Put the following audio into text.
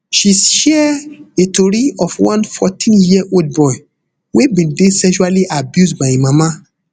she share di tori of one fourteenyear old boy wey bin dey sexually abused by im mama